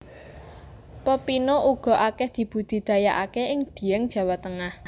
Pepino uga akeh dibudidayaake ing Dieng Jawa Tengah